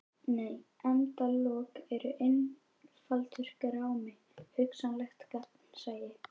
Nei endalok eru einfaldur grámi: hugsanlegt gagnsæi.